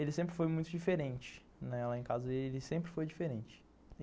Ele sempre foi muito diferente, né, lá em casa ele sempre foi diferente.